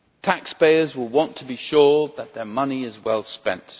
Taxpayers will want to be sure that their money is well spent.